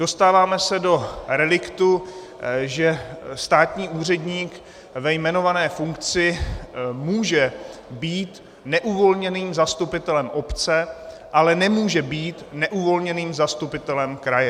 Dostáváme se do reliktu, že státní úředník ve jmenované funkci může být neuvolněným zastupitelem obce, ale nemůže být neuvolněným zastupitelem kraje.